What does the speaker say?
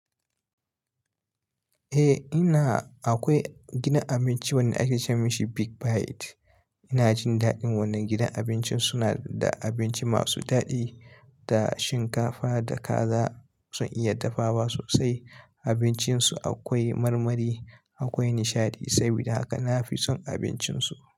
Eh ina, akwai gidan abinci wanda ake ce ma shi Big Bite. Ina jin daɗin wannan gidan abincin suna da abinci masu daɗi da shinkafa da kaza sun iya dafawa sosai. Abincinsu akwai marmari, akwai nishaɗi. Saboda haka na fi son abincinsu.